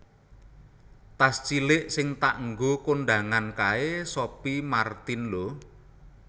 Tas cilik sing tak nggo kondangan kae Sophie Martin lho